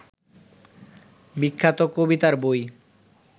বিখ্যাত কবিতার বই